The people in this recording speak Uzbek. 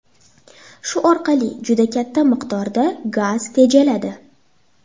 Shu orqali juda katta miqdorda gaz tejaladi.